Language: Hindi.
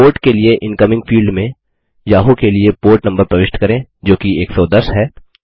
पोर्ट के लिए इनकमिंग फील्ड में याहू के लिए पोर्ट नम्बर प्रविष्ट करें जोकि 110 है